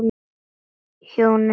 Hjónin fjórðu.